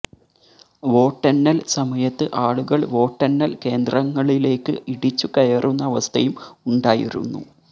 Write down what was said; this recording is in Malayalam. വോട്ടെണ്ണല് സമയത്ത് ആളുകള് വോട്ടെണ്ണല് കേന്ദ്രങ്ങളിലേക്ക് ഇടിച്ചു കയറുന്ന അവസ്ഥയും ഉണ്ടായിരുന്നു